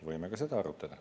Võime ka seda arutada.